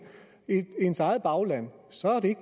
tak så er det